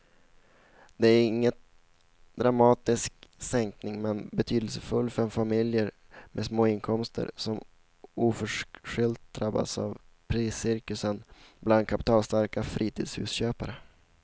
Det är ingen dramatisk sänkning men betydelsefull för familjer med små inkomster som oförskyllt drabbats av priscirkusen bland kapitalstarka fritidshusköpare.